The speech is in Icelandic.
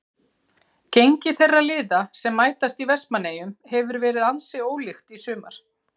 Gengi þeirra liða sem mætast í Vestmannaeyjum hefur verið ansi ólíkt í sumar.